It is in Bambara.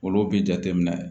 Olu bi jate minɛ